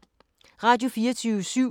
Radio24syv